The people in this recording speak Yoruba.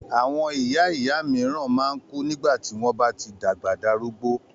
Àwọn ìyá ìyá míràn man kú nígbàtí wón bá tí dàgbà darúgbó